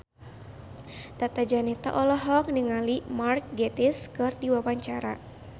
Tata Janeta olohok ningali Mark Gatiss keur diwawancara